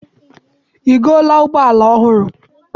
I goola ụgbọala ọhụrụ?